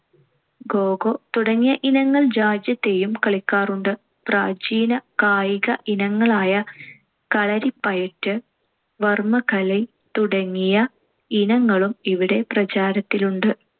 kho kho തുടങ്ങിയ ഇനങ്ങൾ രാജ്യത്തെയും കളിക്കാറുണ്ട്. പ്രാചീന കായിക ഇനങ്ങളായ കളരിപ്പയറ്റ്, വർമ്മ കലൈ തുടങ്ങിയ ഇനങ്ങളും ഇവിടെ പ്രചാരത്തിലുണ്ട്.